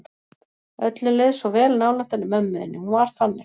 Öllum leið svo vel nálægt henni mömmu þinni, hún var þannig.